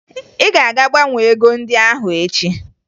Ị ga-aga gbanwee ego ndị ahụ echi!